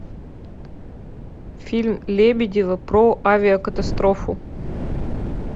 фильм лебедева про авиакатастрофу